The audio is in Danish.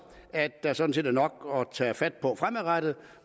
at der sådan set er nok at tage fat på fremadrettet